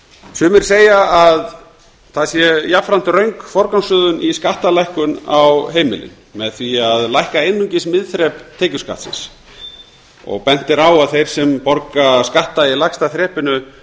sumir segja að það sé jafnframt röng forgangsröðun í skattalækkun á heimilin með því að lækka einungis miðþrep tekjuskattsins bent er á að þeir sem borga skatta í lægsta þrepinu